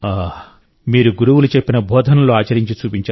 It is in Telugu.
మీరు గురువులు చెప్పిన బోధనలను ఆచరించి చూపించారు